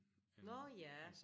Nårh ja